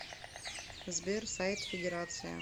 сбер сайт федерация